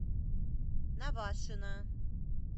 навашино